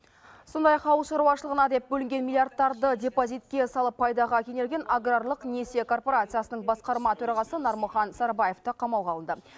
сондай ақ ауылшаруашылығына деп бөлінген миллиардтарды депозитке салып пайдаға кенелген аграрлық несие коорпорациясының басқарма төрағасы нармұхан сарыбаев та қамауға алынды